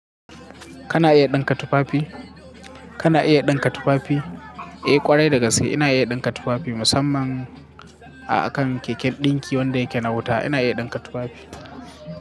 Kana iya dinka tufafi? Kana iya dinka tufafi? Eh kwarai da gaske ina iya dinka tufafi musamman a kan keken ɗinki wanda yake na wuta. Ina iya dinka tufafi.